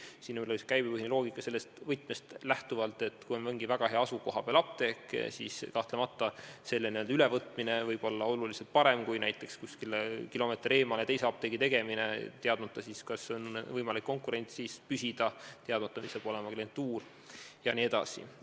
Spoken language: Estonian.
Siin võidakse lähtuda käibepõhisest loogikast sellest võtmest lähtuvalt, et kui apteek on mingis väga heas asukohas, siis kahtlemata selle ülevõtmine võib minna märksa paremini kui näiteks kuskile kilomeeter eemale teise apteegi tegemine, teadmata, kas on võimalik konkurentsis püsida, teadmata, kas saab olema klientuur jne.